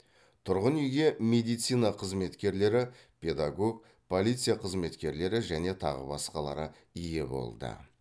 тұрғын үйге медицина қызметкерлері педагог полиция қызметкерлері және тағы басқалары ие болды